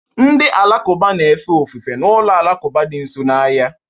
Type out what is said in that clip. Ndị Alakụba na-efe ofufe na ụlọ alakụba dị nso n'ahịa